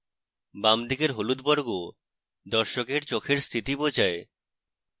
বাম দিকের হলুদ বর্গ দর্শকের চোখের স্থিতি বোঝায়